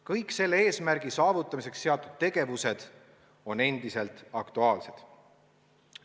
Kõik selle eesmärgi saavutamiseks seatud tegevused on endiselt aktuaalsed.